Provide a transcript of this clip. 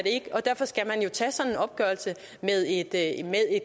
ikke og derfor skal man jo tage sådan en opgørelse med et